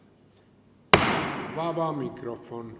Vaba mikrofon.